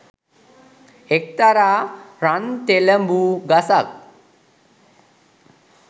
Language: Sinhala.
එක්තරා රන්තෙලඹු ගසක්